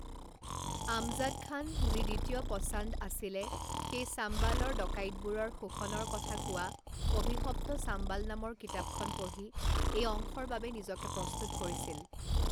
আমজাদ খান, যি দ্বিতীয় পচান্দ আছিলে, তেওঁ চাম্বালৰ ডকাইতবোৰৰ শোষণৰ কথা কোৱা অভিষপ্ত চাম্বাল নামৰ কিতাপখন পঢ়ি এই অংশৰ বাবে নিজকে প্ৰস্তুত কৰিছিল।